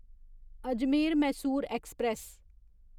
Ajmer Mysore express